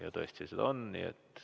Ja tõesti, seda soovi on.